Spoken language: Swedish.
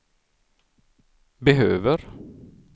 behöver